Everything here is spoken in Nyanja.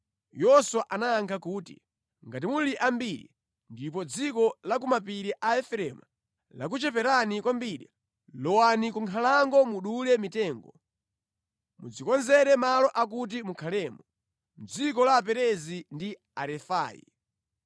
Yoswa anayankha kuti, “Ngati muli ambiri ndipo dziko la ku mapiri la Efereimu lakucheperani kwambiri, lowani ku nkhalango mudule mitengo, mudzikonzere malo akuti mukhalemo, mʼdziko la Aperezi ndi Arefai.”